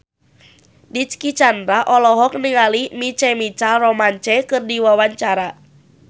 Dicky Chandra olohok ningali My Chemical Romance keur diwawancara